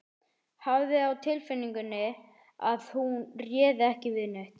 Hafði á tilfinningunni að hún réði ekki við neitt.